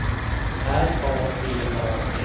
R A B A T